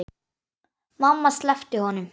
Mamma sleppti honum.